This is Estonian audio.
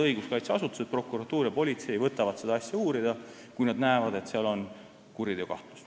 Õiguskaitseasutused, prokuratuur ja politsei, võtavad siis omakorda seda uurida, kui nad näevad, et on kuriteokahtlus.